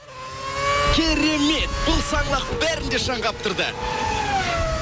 керемет бұл саңлақ бәрін де шаң қаптырды